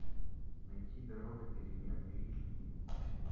найти дорога перемен эйч ди